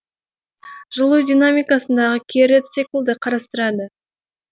жылу динамикасындағы кері циклды қарастырады